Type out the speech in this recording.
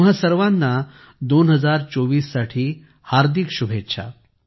तुम्हां सर्वाना 2024 च्या हार्दिक शुभेच्छा